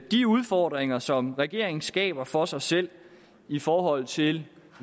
de udfordringer som regeringen skaber for sig selv i forhold til